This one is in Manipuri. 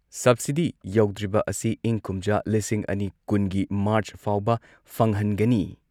ꯁꯕꯁꯤꯗꯤ ꯌꯧꯗ꯭ꯔꯤꯕ ꯑꯁꯤ ꯏꯪ ꯀꯨꯝꯖꯥ ꯂꯤꯁꯤꯡ ꯑꯅꯤ ꯀꯨꯟꯒꯤ ꯃꯥꯔꯆ ꯐꯥꯎꯕ ꯐꯪꯍꯟꯒꯅꯤ